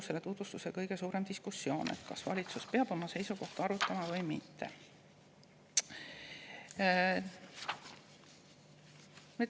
Selle tutvustuse kõige suurem diskussioon ilmselt oligi selle üle, et kas valitsus peab oma seisukohta arutama või mitte.